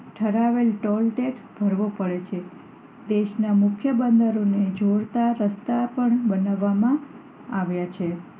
ઠરાવેલ toll tax ભરવો પડે છે દેશ માં મુખ્ય બંદરોને જોડતા રસ્તા પણ બનાવવામાં આવ્યા છે